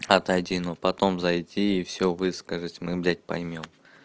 отойди но потом зайти и всё высказать мы блять поймём